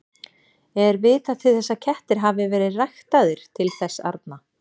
Er vitað til að kettir hafi verið ræktaðir til þess arna?